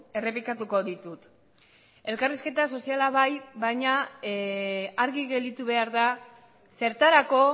errepikatuko ditut elkarrizketa soziala bai baina argi gelditu behar da zertarako